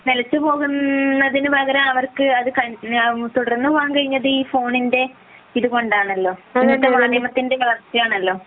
നിലച്ചു പോവുന്നതിനു പകരം തുടർന്ന് പോവാൻ കഴിഞ്ഞത് ഈ ഫോണിന്റെ ഇത് കൊണ്ടാണല്ലോ സാങ്കേതികത്വത്തിന്റെ വളർച്ച കൊണ്ടാണല്ലോ